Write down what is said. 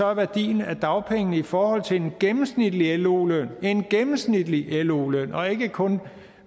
er værdien af dagpengene i forhold til en gennemsnitlig lo løn en gennemsnitlig lo løn og ikke kun